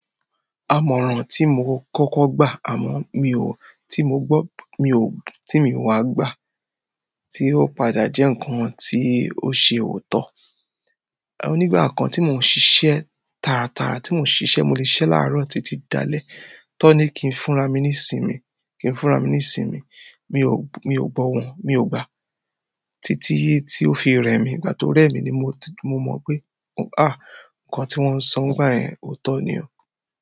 Àmọ̀ràn tí mo kọ́kọ́ gbà àmọ́ mi ò tí mo gbọ́, mi ò tí mi wá gbà tí ó padà jẹ́ nǹkan tí ó ṣe òótọ́. Ònígbà kan tí mò ń ṣiṣẹ́ tara tara tí mò ń ṣiṣẹ́, mo lè sisẹ láàárọ̀ títí dalẹ́. Ti won ni ki fún ara mi ni ìsinmi, ki n fúnra mi nisinmi mi gbo won mi o gba títí tí ó fi re mí. Ìgbà tó rẹ̀ mí ni mo mọ̀ pé nkan ti won n so nígbà yen ooto ni o.